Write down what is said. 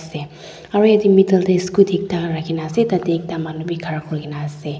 aru jatte metel te ekta scooty ekta rakhi kina ase tarte ekta manu bhi khara kori kina ase.